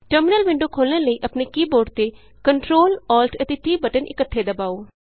terminal window ਖੋਲ੍ਹਣ ਲਈ ਆਪਣੇ ਕੀ ਬੋਰਡ ਤੇ Ctrl Alt ਅਤੇ T ਬਟਨ ਇੱਕਠੇ ਦਬਾਉ